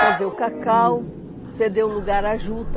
Quer dizer, o Cacau cedeu o lugar à Juta.